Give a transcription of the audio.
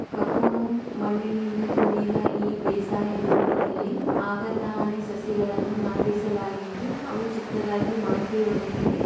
ಕಪ್ಪು ಮಣ್ಣಿನಿಂದ ಕುಡಿದ ಈ ಬೇಸಾಯ ಭೂಮಿಯಲ್ಲಿ ಆಗತಾನೇ ಸಸಿಗಳನ್ನು ನಟಿಸಲಾಗಗಿದ್ದು ಅವು.